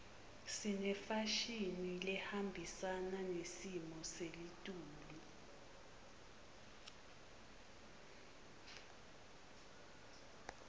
sinefashini lehambisana nesimo seltulu